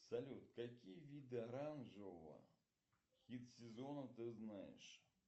салют какие виды оранжевого хит сезона ты знаешь